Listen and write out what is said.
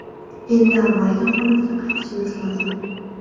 Endi avvalgi holatga qaytishimiz lozim.